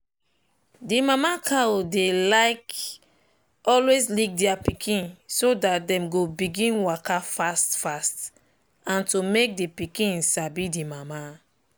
the mama cow dy like always lick their pikin so that dem go begin waka fast fast and to make the pikinsabi the mama